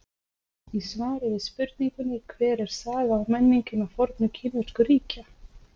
Í svari við spurningunni Hver er saga og menning hinna fornu kínversku ríkja?